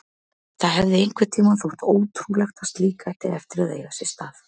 Það hefði einhvern tímann þótt ótrúlegt að slíkt ætti eftir að eiga sér stað.